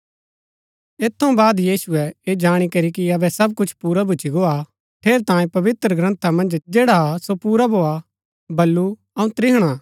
ऐत थऊँ बाद यीशुऐ ऐह जाणी करी कि अबै सब कुछ पुरा भूच्ची गो हा ठेरैतांये पवित्रग्रन्था मन्ज जैडा हा सो पुरा भोआ बल्लू अऊँ त्रिहणा हा